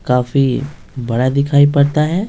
काफी बड़ा दिखाई पड़ता है ।